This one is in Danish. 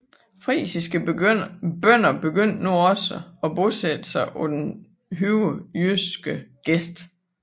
Frisiske bønder begyndte nu også at bosatte sig på den højere jyske gest